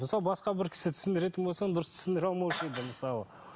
мысалы басқа бір кісі түсіндіретін болса оны дұрыс түсіндіре алмаушы еді мысалы